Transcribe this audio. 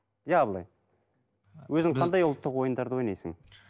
иә абылай өзің қандай ұлттық ойындарды ойнайсың